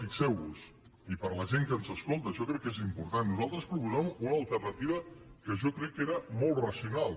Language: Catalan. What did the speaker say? fixeu vos hi i per a la gent que ens escolta això crec que és important nosaltres proposàvem una alternativa que jo crec que era molt racional